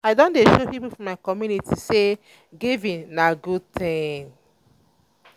i don dey show pipo for my community sey giving na good tin.